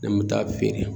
Ne kun bɛ taa feere